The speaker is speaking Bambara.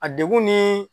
A degun ni